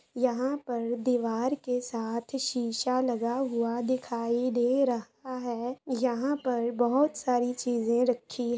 इहा पर दीबार के साथ शीशा लगा हुआ दिखाई दे रहा हे इहा पर बोहोत सारी चीजे राखी--